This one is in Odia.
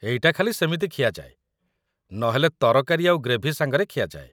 ଏଇଟା ଖାଲି ସେମିତି ଖିଆଯାଏ, ନହେଲେ ତରକାରୀ ଆଉ ଗ୍ରେଭି ସାଙ୍ଗରେ ଖିଆଯାଏ ।